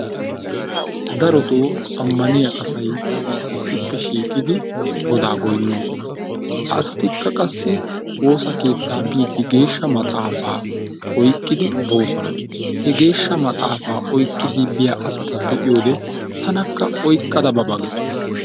Darotoo ammaniya asayi issippe shiiqidi godaa goyinnoosona. Ha asatikka qassi woosa keettaa biiddi geeshsha maxaafa oyqqidi boosona. He geeshsha maxaafa oyqqida biya asata be'iyoode tanakka oyqqada ba ba ges.